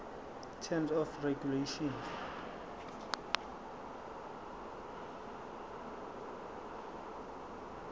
terms of regulation